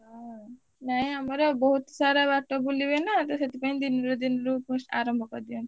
ହୁଁ ନା ଆମର ବହୁତ୍ ସାରା ବାଟ ବୁଲିବେ ନା ତ ସେଥିପାଇଁ ଦିନିରୁ ଦିନିରୁ ଆରମ୍ଭ କରିଦିଅନ୍ତି।